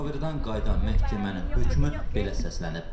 Müşavirədən qayıdan məhkəmənin hökmü belə səslənib.